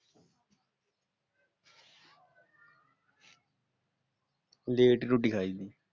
Late ਹੀ ਰੋਟੀ ਖਾਇਦੀ।